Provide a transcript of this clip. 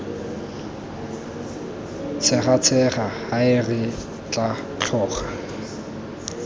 tshegatshega hae re tla tloga